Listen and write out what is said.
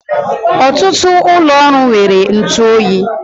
Ọtụtụ ụlọ ọrụ nwere ntụ oyi